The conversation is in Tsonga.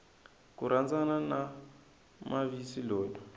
ku rhandzana na mavis loyi